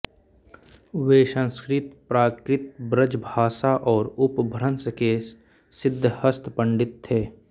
वे संस्कृत प्राकृत ब्रजभाषा और अपभ्रंश के सिद्धहस्त पंडित थे